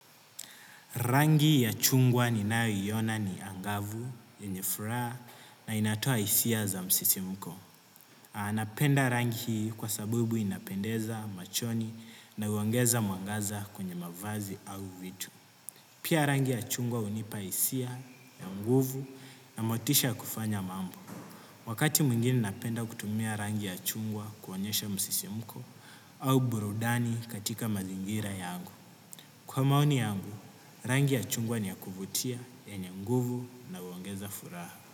Rangi ya chungwa ninayo iona ni angavu yenye furaha na inatoa hisia za msisimko. Anapenda rangi hii kwa sabubu inapendeza machoni na huongeza mwangaza kwenye mavazi au vitu. Pia rangi ya chungwa hunipa hisia, na nguvu na motisha ya kufanya mambo. Wakati mwingine napenda kutumia rangi ya chungwa kuonyesha msisimko au burudani katika mazingira yangu. Kwa maoni yangu, rangi ya chungwa ni ya kuvutia yenye nguvu na huongeza furaha.